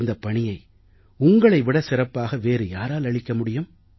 இந்தப் பணியை உங்களை விடச் சிறப்பாக வேறு யாரால் அளிக்க முடியும்